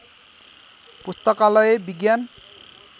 पुस्तकालय विज्ञान